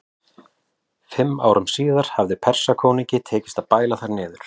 Fimm árum síðar hafði Persakonungi tekist að bæla þær niður.